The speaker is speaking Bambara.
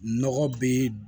Nɔgɔ be